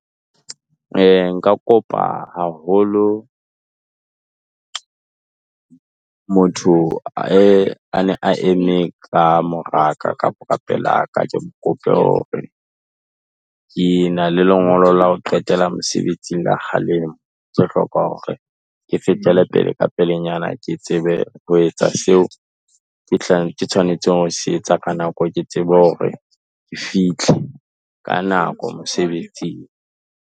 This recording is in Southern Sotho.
Nka kopa haholo motho a ne a eme ka mora kapa ka pelaka, ke mo kope hore, ke na le lengolo la ho qetela mosebetsing la kgalemo, ke hloka hore ke fetele pele ka pelenyana, ke tsebe ho etsa seo ke tshwanetse hore ke se etse ka nako, ke tsebe hore ke fihle ka nako mosebetsing.